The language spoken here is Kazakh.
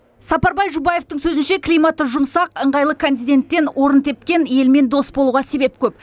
сапарбай жұбаевтың сөзінше климаты жұмсақ ыңғайлы континенттен орын тепкен елмен дос болуға себеп көп